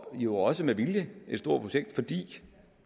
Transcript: jo også med vilje et stort projekt fordi